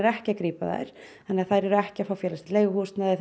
ekki að grípa þær þannig þær eru ekki að fá félagslegt leiguhúsnæði